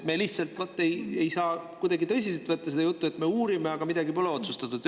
Me lihtsalt ei saa kuidagi tõsiselt võtta seda juttu, et me uurime, aga midagi pole otsustatud.